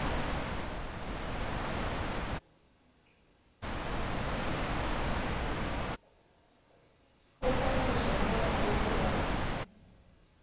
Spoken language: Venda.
o tanganyiswaho nga matuku nga